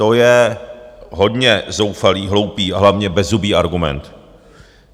To je hodně zoufalý, hloupý, a hlavně bezzubý argument.